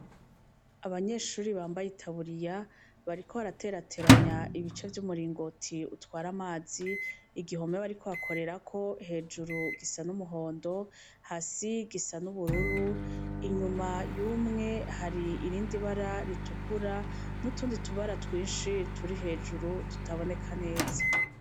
Abanyeshure bambaye itaburiya bariko baraterateranya ibice vy'umuringoti utwara amazi, igihome bariko bakorerako hejuru gisa n'umuhondo hasi gisa n'ubururu, inyuma y'umwe hari irindi bara ritukura n'utundi tubara twinshi turi hejuru rutaboneka neza.